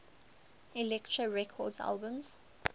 elektra records albums